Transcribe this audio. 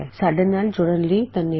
ਸਾਡੇ ਨਾਲ ਜੁੜਨ ਲਈ ਧੰਨਵਾਦ